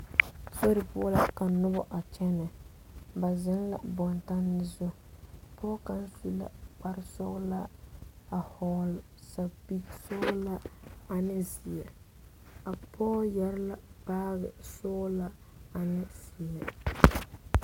Sori poɔ la ka noba a kyɛne ba zɔ la bontanne zu pɔge kaŋa su la kpare sɔglaa a vɔgle sapele sɔglaa ane ziɛ pɔge yeere la baagi sɔglaa ane ziɛ.